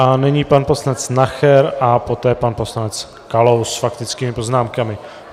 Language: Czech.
A nyní pan poslanec Nacher a poté pan poslanec Kalous s faktickými poznámkami.